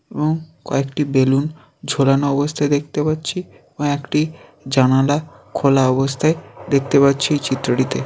এবং কয়েকটি বেলুন ঝোলানো অবস্থায় দেখতে পাচ্ছি কয়েকটি জানালা খোলা অবস্থায় দেখতে পাচ্ছি চিত্রটিতে।